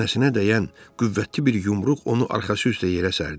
Çənəsinə dəyən qüvvətli bir yumruq onu arxası üstə yerə sərdi.